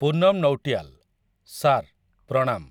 Punam Nautiyal. Sir, ପ୍ରଣାମ ।